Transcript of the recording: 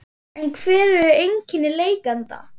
En hver eru einkenni lekanda?